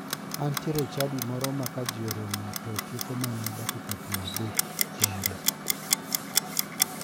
Antiere e chadi ma ka ji oromo to tieko mana dakika piero adek kende.